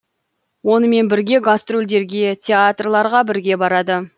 онымен бірге гастрольдерге театрларға бірге барады